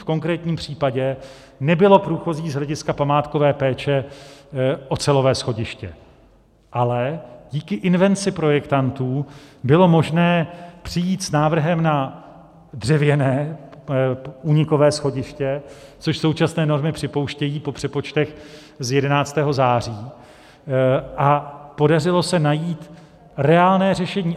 V konkrétním případě nebylo průchozí z hlediska památkové péče ocelové schodiště, ale díky invenci projektantů bylo možné přijít s návrhem na dřevěné únikové schodiště, což současné normy připouštějí po přepočtech z 11. září, a podařilo se najít reálné řešení.